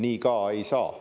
Nii ka ei saa.